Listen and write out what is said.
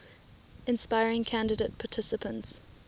inspiring candidate participants